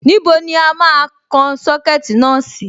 Níbo ni a máa kan Sọ́kẹ̀tì náà sí?